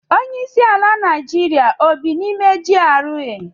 Onye isi ala Naijiria o bị n'ime GRA?